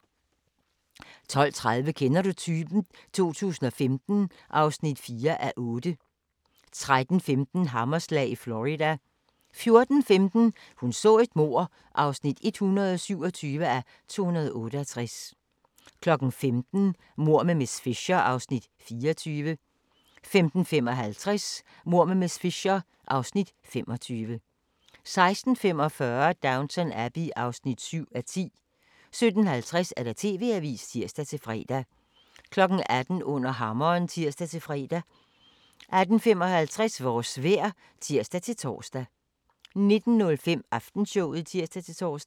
12:30: Kender du typen? 2015 (4:8) 13:15: Hammerslag i Florida 14:15: Hun så et mord (127:268) 15:00: Mord med miss Fisher (Afs. 24) 15:55: Mord med miss Fisher (Afs. 25) 16:45: Downton Abbey (7:10) 17:50: TV-avisen (tir-fre) 18:00: Under hammeren (tir-fre) 18:55: Vores vejr (tir-tor) 19:05: Aftenshowet (tir-tor)